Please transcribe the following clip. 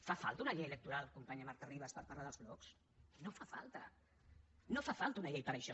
fa falta una llei electoral companya marta ribas per parlar dels blocs no fa falta no fa falta una llei per a això